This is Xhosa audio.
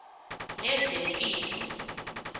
lezempilo